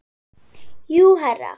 Jú, herra.